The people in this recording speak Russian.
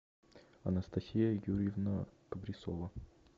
анастасия юрьевна абрисова